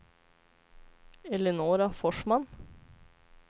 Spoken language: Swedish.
Eleonora Forsman